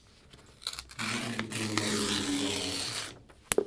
Gibedo gi thuolo mar yie gi jomoko